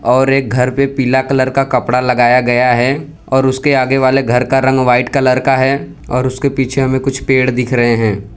और एक घर पे पीला कलर का कपड़ा लगाया गया है और उसके आगे वाले घर का रंग व्हाइट कलर का है और उसके पीछे हमें कुछ पेड़ दिख रहे है।